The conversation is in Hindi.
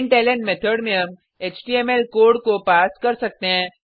प्रिंटलन मेथड में हम एचटीएमएल कोड पास को कर सकते हैं